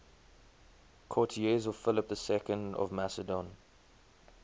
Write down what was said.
courtiers of philip ii of macedon